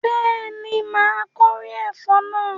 Bẹ́ẹ̀ni, my kórè ẹ̀fọ́ náà